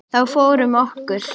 Þá fór um okkur.